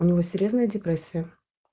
у него серьёзная депрессия